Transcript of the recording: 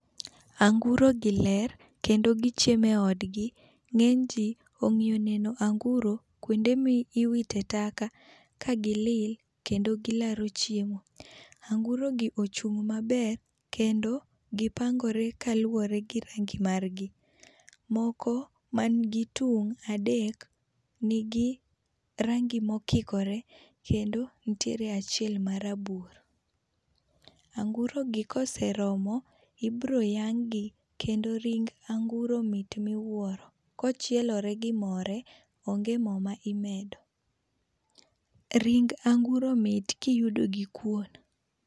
Anguro gi ler kendo gi chiemo e od gi, ng'eny ji ongiyo neno anguro kuonde ma iwite taka ka gi lil kendo gi laro chiemo. Anguro gi ochung' maber kendo gi pangore kaluwore gi rangi mar gi ,moko ma n gi tung' adek ma ni gi rangi ma okikore kendo nitiere achiel ma rabuor. Anguro gi ka oseromo ibiro yang' gi kendo ring anguro mit ma iwuoro ,kochielore gi more onge moo ma imedo. Ring anguro mit ka iyudo gi kuon.